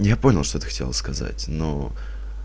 я понял что ты хотела сказать но